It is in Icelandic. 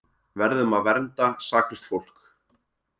Verðum að vernda saklaust fólk